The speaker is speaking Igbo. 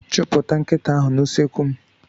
Chụpụta nkịta ahụ n'usekwu m.